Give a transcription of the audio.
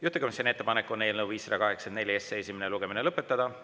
Juhtivkomisjoni ettepanek on eelnõu 584 esimene lugemine lõpetada.